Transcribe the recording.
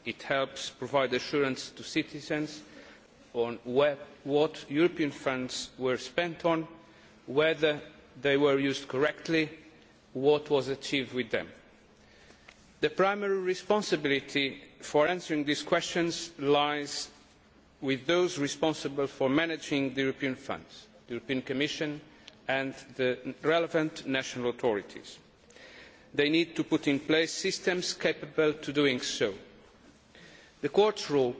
It helps provide citizens with assurance as to what European funds were spent on, whether they were used correctly, and what was achieved with them. The primary responsibility for answering these questions lies with those responsible for managing European funds the Commission and the relevant national authorities. They need to put in place systems capable of doing so. The Court's role